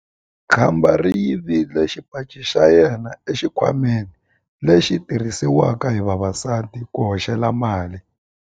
Khamba ri yivile xipaci xa yena exikhwameni lexi xi tirhisiwaka hi vavasati ku hoxela mali.